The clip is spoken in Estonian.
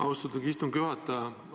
Austatud istungi juhataja!